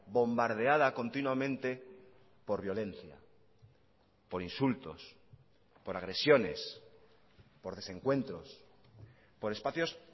bombardeada continuamente por violencia por insultos por agresiones por desencuentros por espacios